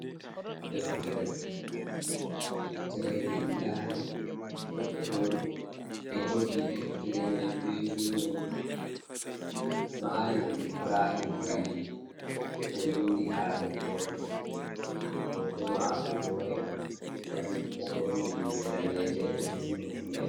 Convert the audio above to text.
Deftere deftere windande goɗɗo e jogi deftere mai be jungo, malan ibrahim kalil o windi ha deftere mai, hoto mako bo e bangi, o borni limse daneje o hifni hufnere.